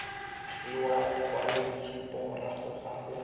fiwa lekwaloitshupo morago ga go